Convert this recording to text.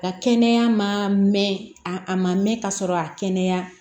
Ka kɛnɛya ma mɛn a a ma mɛn ka sɔrɔ a ma kɛnɛya